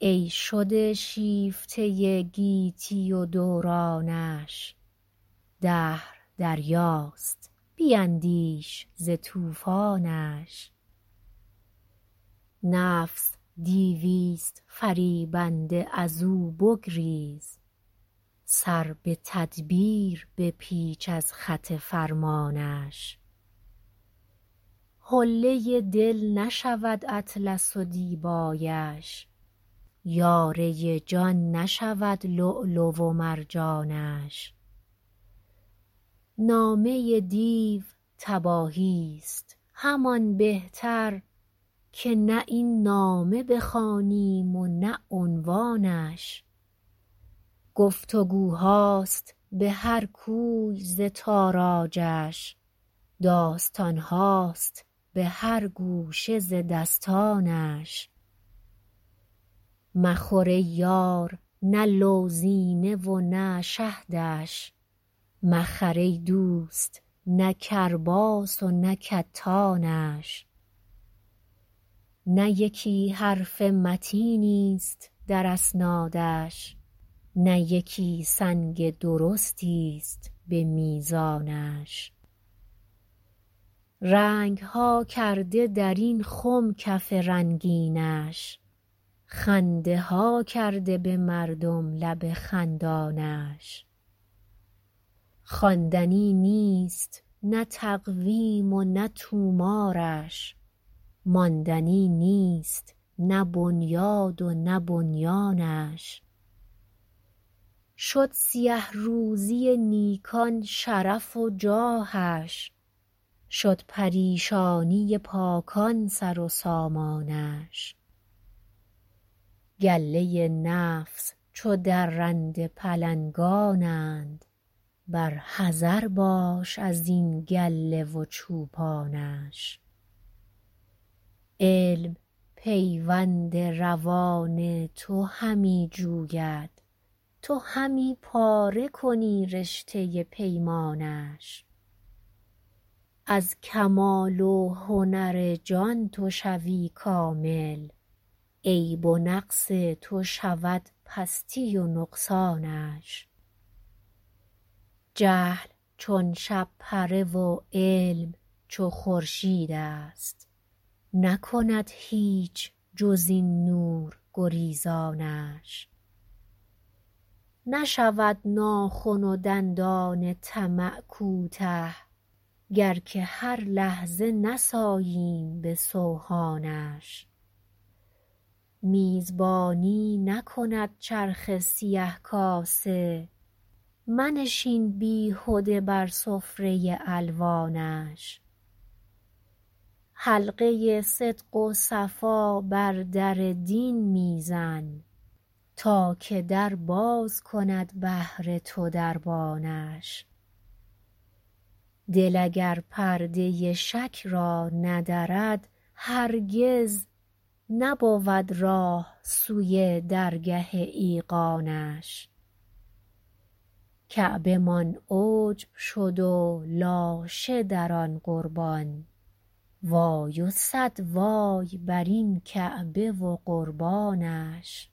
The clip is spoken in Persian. ای شده شیفته گیتی و دورانش دهر دریاست بیندیش ز طوفانش نفس دیویست فریبنده از او بگریز سر بتدبیر بپیچ از خط فرمانش حله دل نشود اطلس و دیبایش یاره جان نشود لعل و مرجانش نامه دیو تباهیست همان بهتر که نه این نامه بخوانیم و نه عنوانش گفتگوهاست بهر کوی ز تاراجش داستانهاست بهر گوشه ز دستانش مخور ای یار نه لوزینه ونه شهدش مخر ای دوست نه کرباس ونه کتانش نه یکی حرف متینی است در اسنادش نه یکی سنگ درستی است بمیزانش رنگها کرده در این خم کف رنگینش خنده ها کرده بمردم لب خندانش خواندنی نیست نه تقویم و نه طومارش ماندنی نیست نه بنیاد و نه بنیانش شد سیه روزی نیکان شرف و جاهش شد پریشانی پاکان سرو سامانش گله نفس چو درنده پلنگانند بر حذر باش ازین گله و چوپانش علم پیوند روان تو همی جوید تو همی پاره کنی رشته پیمانش از کمال و هنر جان تو شوی کامل عیب و نقص تو شود پستی و نقصانش جهل چو شب پره و علم چو خورشید است نکند هیچ جز این نور گریزانش نشود ناخن و دندان طمع کوته گر که هر لحظه نساییم بسوهانش میزبانی نکند چرخ سیه کاسه منشین بیهده بر سفره الوانش حلقه صدق و صفا بر در دین میزن تا که در باز کند بهر تو دربانش دل اگر پرده شک را ندرد هرگز نبود راه سوی درگه ایقانش کعبه مان عجب شد و لاشه در آن قربان وای و صد وای برین کعبه و قربانش